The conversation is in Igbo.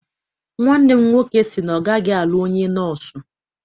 Nwanne m nwoke sị na ọ gaghị alụ onye nọọsụ.